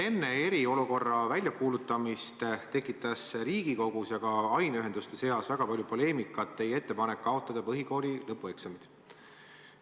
Enne eriolukorra väljakuulutamist tekitas Riigikogus ja ka aineühenduste seas väga palju poleemikat teie ettepanek kaotada põhikooli lõpueksamid.